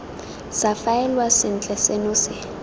sa faelwa sentle seno se